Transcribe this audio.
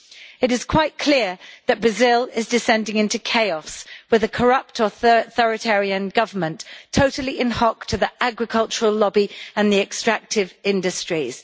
It is quite clear that Brazil is descending into chaos, with a corrupt authoritarian government, totally in hock to the agricultural lobby and the extractive industries.